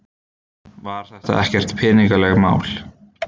Var þetta ekkert peningalegt mál?